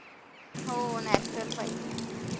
हो natural पाहिजे.